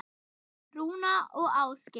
Rúna og Ásgeir.